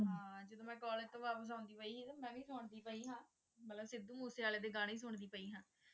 ਹਾਂ ਜਦੋਂ ਮੈਂ College ਤੋਂ ਵਾਪਿਸ ਆਉਂਦੀ ਪਈ ਸੀ ਨਾ ਮੈਂ ਵੀ ਸੁਣਦੀ ਪਈ ਸਾਂ ਮਤਲਬ ਸਿੱਧੂ ਮੂਸੇਵਾਲੇ ਦੇ ਗਾਣੇ ਸੁਣਦੀ ਪਈ ਹਾਂ ਤੇ